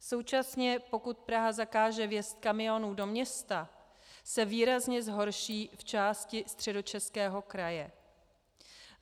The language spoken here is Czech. Současně pokud Praha zakáže vjezd kamionů do města, se výrazně zhorší v části Středočeského kraje.